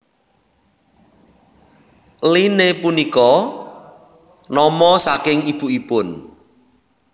Lynne punika nama saking ibukipun